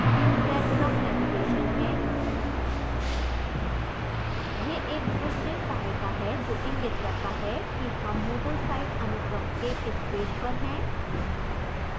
यह breadcrumb navigation है यह एक दृश्य सहायता है जो इंगित करता है कि हम moodle site अनुक्रम के किस पेज पर हैं